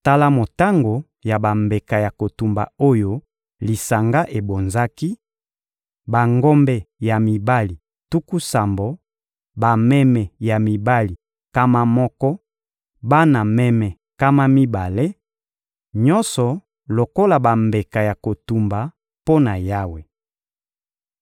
Tala motango ya bambeka ya kotumba oyo lisanga ebonzaki: bangombe ya mibali tuku sambo, bameme ya mibali nkama moko, bana meme nkama mibale: nyonso lokola bambeka ya kotumba mpo na Yawe.